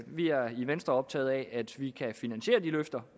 vi er i venstre optaget af at vi kan finansiere de løfter